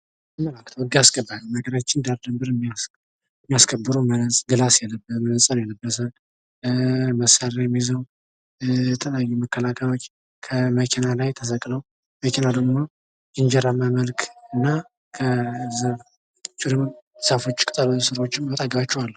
ህግ አስከባሪ የሀገራችን ዳር ድበር የሚያስከብሩ መነፀር የለበሰ መሳርያም ይዘው የተለያዩ መከላከያዎች ከመኪና ተሰቅለው መኪናው ደሞ ሬጀራማ መልክና ዛፎችም ቅጠሎችም ካጠገባቸው አሉ።